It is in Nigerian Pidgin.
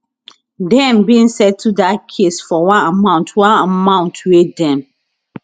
dem bin settle dat case for one amount one amount wey dem